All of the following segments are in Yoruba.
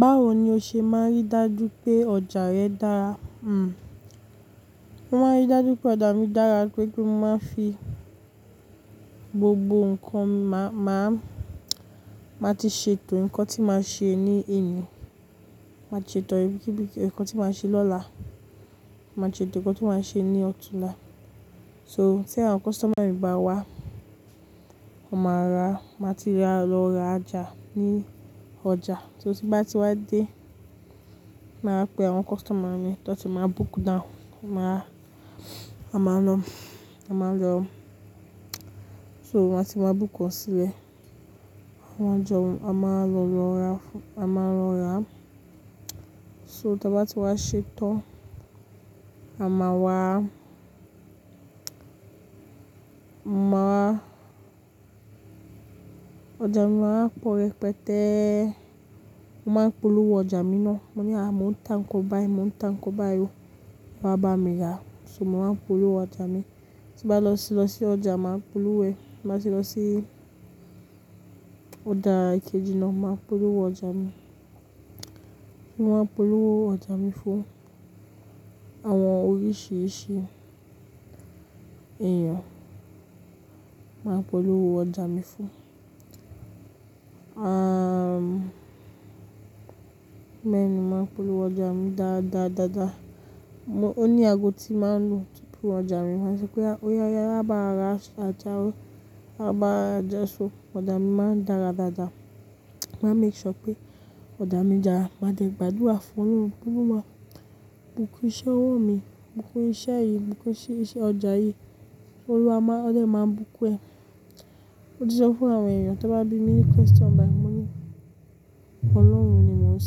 Báwo ni o ṣe máa ń rí dájú pé ọjà rẹ dára? Hm mo máa ń rí dájú pé ọjà mi dára toripé mo máa n fi gbogbo nǹkan máa, máa ti ṣètò nǹkan tí màá ṣe ní ení, màá ti ṣètò nǹkan tí màá ṣe lọ́la, màá ti ṣètò nǹkan tí màá ṣe ní ọ̀túnla. So tí àwọn customer mi bá wá, wón máa ra, màá ti lọ ra já ní ọjà. Ti n bá ti wá dé, màá pe àwọn customer mi tó ti máa book down, a máa lọ, a máa lọ. So á ti máa book wọ́n sílẹ̀. Wọ́n jọ, a máa lọ ra, a máa lọ ra. So tí wọ́n bá ti wá ṣètan, a máa wá, máa wa, ọjà mi máa wa pọ̀ repẹtẹ́, wọ́n máa ń polówó ọjà mi ná. Mo ní à, mo ń ta nkan báyi, mo ń ta nkan báyi o, wà á bá mi rà. So wọ́n máa ń polówó ọjà mi. Ti bá lọ sí, lọ sí ọjà máa polówó ẹ̀. Tí bá ti lọ sí ọjà kejì náà, máa polówó ọjà mi. Wọ́n máa ń polówó ọjà mi fún àwọn oríṣìíríṣìí èèyàn. Wọ́n á polówó ọjà mi fún, ah, béenì wọ́n á polówó ọjà mi dáadáa, dáadáa. Mo ní ago tí màá ń lo tún ọjà mi, máṣe pé óyá oya bá wa ra ojá o, á wá maa je isu. Ọjà mi máa ń dára dáadáa. Màá make sure pé ọjà mi dára. Màá dẹ gbádúrà fún Ọlọ́run pé kó máa bùkún iṣẹ́ ọwọ́ mi, bùkún iṣẹ́ yìí, bùkún iṣẹ́ ọjà yìí. Olúwa má, ọlọ́run máa bùkún ẹ. Ó ti jẹ́ fún àwọn èèyàn tó bá bí mi ní question báyìí, mo ní Ọlọ́run ni mo ń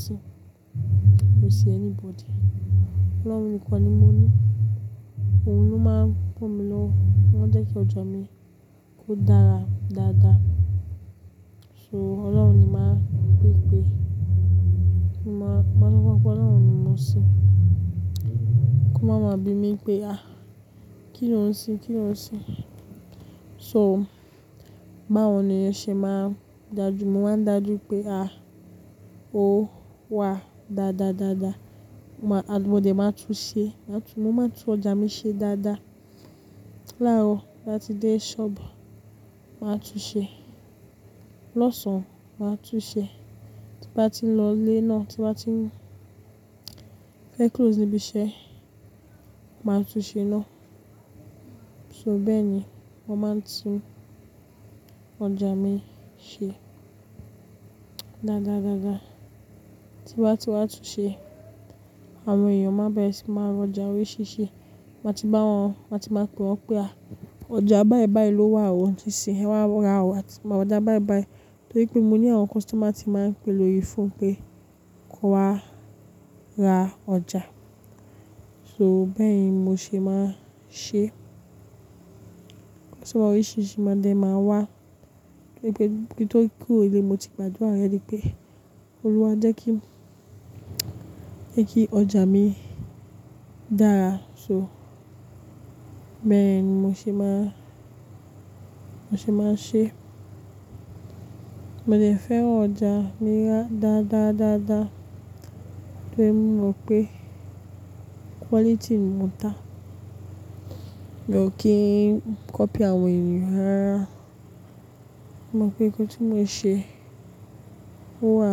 ṣin, miò sìn anybody. Ọlọ́run mi kan ni mo ní. Òun ló máa ń kó mi lọ, ó jẹ́ kí ọjà mi kó dára dáadáa. So Ọlọ́run ni màá ń gbé ìgbé. Mo máa sọ fún wọn pé Ọlọ́run ni mo ń ṣe. Kó máa máa bí mi pé à, kí lo ń ṣin? Kí lo ń ṣin? So báwo ni ó ṣe máa ń dájú? Mo máa ń dájú pé à, ó wà dáadáa, dáadáa. Mo máa tú ọjà mi ṣe dáadáa. Láàárọ̀ tí a ti dé ṣọ́ọ̀bù, màá tú ṣe. Lọ́sàn-án, màá tún ṣe. Tí bá ti ń lọ ilé náà, tí bá ti ń close níbi iṣẹ́, màá tún ṣe ná. So bẹ́ẹ̀ ni mo máa ń tún ọjà mi ṣe dáadáa, dáadáa. Ti bá ti wá tún ṣe, àwọn èèyàn máa bẹ̀rẹ̀ sí máa ra ọjà oríṣìíríṣìí. Màá ti bá wọn, màá ti máa pe wọ́n pé à, ọjà báyi báyi ló wà o. Ti ṣe ẹ wá ra ọjà báyi báyi. Torí pé mo ní àwọn customer ti máa ń pe lórí fóònù pé kó wá ra ọjà. So bẹ́ẹ̀ ni mo ṣe máa ń ṣe. Ṣé ìwà oríṣìíríṣìí máa jẹ máa wà? Torí pé kí n tó kúrò nilé, mo ti gbádùra alrẹ̀ady wí pé Olúwa jẹ́ kí, jẹ́ kí ọjà mi dára. So bẹ́ẹ̀ ni mo ṣe máa, mo ṣe máa ṣe. Mo dẹ fẹ́ran ọjà mi dáadáa, dáadáa. Torí mo mọ pé quality ni mòn táa. Mi ò kí n cọ́py àwọn èèyàn rárá. Mo mọ̀ pé ohun tí mo ṣe ó wà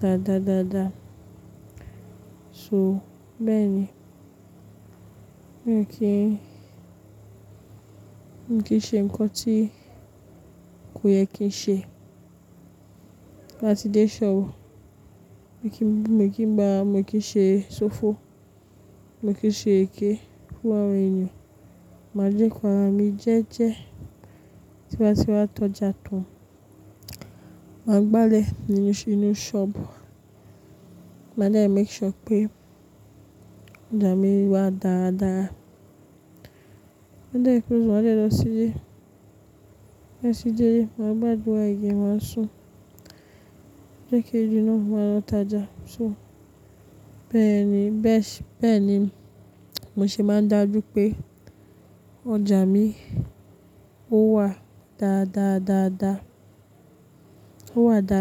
dáadáa, dáadáa. So bẹ́ẹ̀ ni. Mi ò kí n, mi ò kí n ṣe nǹkan tí kò yẹ kí n ṣe. Láti dé ṣọ́ọ̀bù, mi ò kí n gba, mi ò kí n ṣe ṣòfò, mi ò kí n ṣe èké fún àwọn èèyàn. Màá joko ara mi jẹ́ẹjẹ́. Tí wọ́n bá ti wá tọ́ ọjà tán, màá gbálẹ̀ nínú ṣọ́ọ̀bù. Màá dẹ́ make sure pé ọjà mi wà dáadáa. Bí ẹ dé close, màá dẹ́ lọ sílé. Bati dé ílé, màá gbádùra àyè, màá sùn. Ọjọ́ kejì náà, màá lọ ta ọjà. So bẹ́ẹ̀ ni, bẹ́ẹ̀ sì, bẹ́ẹ̀ ni mo ṣe máa ń dájú pé ọjà mi ó wà dáadáa, dáadáa. Ó wà dáadáa.